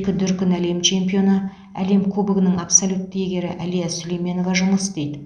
екі дүркін әлем чемпионы әлем кубогының абсолютті иегері әлия сүлейменова жұмыс істейді